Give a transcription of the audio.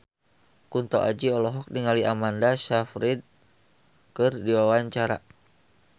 Kunto Aji olohok ningali Amanda Sayfried keur diwawancara